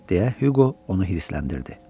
Deyə Hüqo onu hirsləndirdi.